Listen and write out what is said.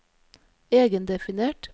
egendefinert